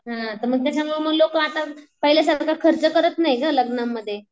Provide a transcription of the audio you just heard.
हां मग त्याच्यामुळं लोक पण आता पाहिल्यासारखं खर्च करत नाही गं लग्नांमध्ये.